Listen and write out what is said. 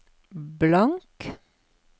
blank